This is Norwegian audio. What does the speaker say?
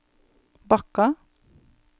Bakka